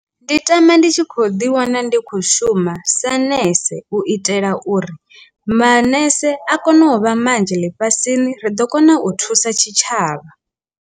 Ndi tama ndi tshi kho ḓi wana ndi khou shuma sa nese u itela uri manese a kone u vha manzhi ḽifhasini ri ḓo kona u thusa tshitshavha.